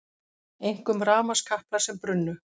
Einkum rafmagnskaplar sem brunnu